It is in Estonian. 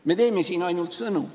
Me teeme siin ainult sõnu.